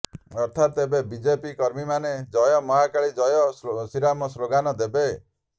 ଅର୍ଥାତ୍ ଏବେ ବିଜେପି କର୍ମୀମାନେ ଜୟ ମହାକାଳୀ ଜୟ ଶ୍ରୀରାମ ସ୍ଲୋଗାନ୍ ଦେବେ